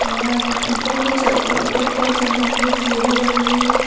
बाहर ऊपर के च अह ऊपर की ओर चढ़ने के लिए सीढ़ी लगी हुई है।